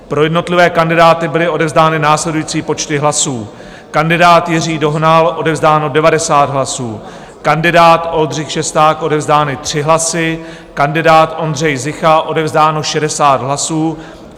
Pro jednotlivé kandidáty byly odevzdány následující počty hlasů: kandidát Jiří Dohnal - odevzdáno 90 hlasů, kandidát Oldřich Šesták - odevzdány 3 hlasy, kandidát Ondřej Zicha - odevzdáno 60 hlasů.